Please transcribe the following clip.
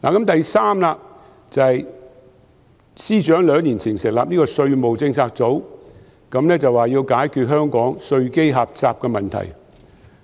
第三，司長兩年前成立稅務政策組，說要解決香港稅基狹窄的問題。